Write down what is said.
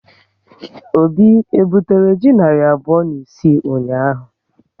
Obi e butere ji narị abụọ na isii ụnyaahụ?